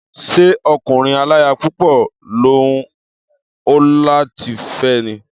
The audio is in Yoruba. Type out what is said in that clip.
Ṣé ọkùnrin aláya púpọ̀ ló hùn ọ́ láti fé ni?